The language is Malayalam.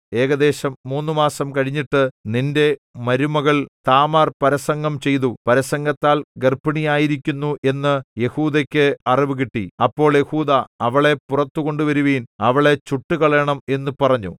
ഏകദേശം മൂന്നുമാസം കഴിഞ്ഞിട്ട് നിന്റെ മരുമകൾ താമാർ പരസംഗം ചെയ്തു പരസംഗത്താൽ ഗർഭിണിയായിരിക്കുന്നു എന്നു യെഹൂദായ്ക്ക് അറിവുകിട്ടി അപ്പോൾ യെഹൂദാ അവളെ പുറത്തുകൊണ്ടുവരുവിൻ അവളെ ചുട്ടുകളയണം എന്നു പറഞ്ഞു